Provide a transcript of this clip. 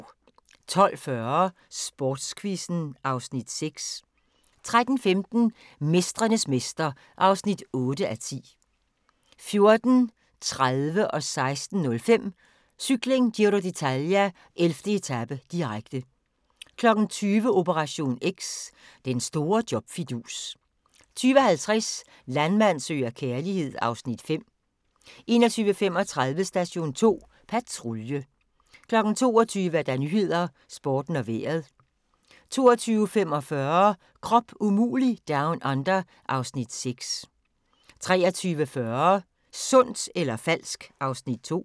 12:40: Sportsquizzen (Afs. 6) 13:15: Mestrenes mester (8:10) 14:30: Cykling: Giro d'Italia - 11. etape, direkte 16:05: Cykling: Giro d'Italia - 11. etape, direkte 20:00: Operation X: Den store job-fidus 20:50: Landmand søger kærlighed (Afs. 5) 21:35: Station 2 Patrulje 22:00: Nyhedern, Sporten og Vejret 22:45: Krop umulig Down Under (Afs. 6) 23:40: Sundt eller falsk? (Afs. 2)